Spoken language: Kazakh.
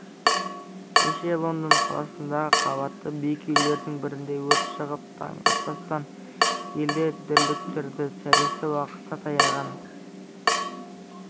кеше лондон қаласындағы қабатты биік үйлердің бірінде өрт шығып таң атпастан елді дүрліктірді сәресі уақыты таяған